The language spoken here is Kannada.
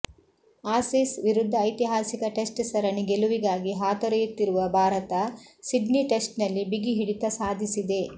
ಆಸೀಸ್ ವಿರುದ್ಧ ಐತಿಹಾಸಿಕ ಟೆಸ್ಟ್ ಸರಣಿ ಗೆಲುವಿಗಾಗಿ ಹಾತೊರಿಯುತ್ತಿರುವ ಭಾರತ ಸಿಡ್ನಿ ಟೆಸ್ಟ್ ನಲ್ಲಿ ಬಿಗಿ ಹಿಡಿತ ಸಾಧಿಸಿದೆ